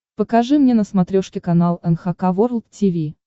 покажи мне на смотрешке канал эн эйч кей волд ти ви